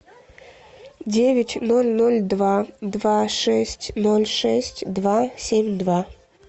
девять ноль ноль два два шесть ноль шесть два семь два